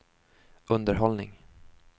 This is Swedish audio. underhållning